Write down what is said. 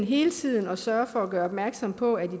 hele tiden at sørge for at gøre opmærksom på at